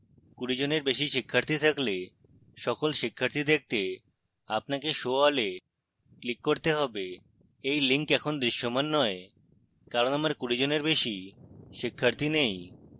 20 এর বেশী শিক্ষার্থী থাকলে সকল শিক্ষার্থী দেখতে আপনাকে show all এ click করতে have